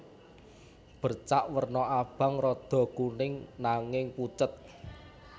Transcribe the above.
Bercak werna abang rada kuning nanging pucet